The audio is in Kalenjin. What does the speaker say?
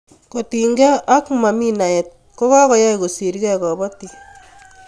kotiny gee ak mami naet kokoai kosirgei kabatik